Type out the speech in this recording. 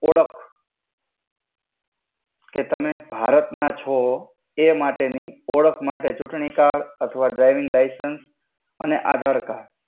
ઓડખ કે તમે ભારત ના છો એ માટે ની ઓડખ માટે ચુટણી કાર્ડ અથ્વા ડ્રૈવિંગ લાઇસેંસ અને આધાર કર્ડડ.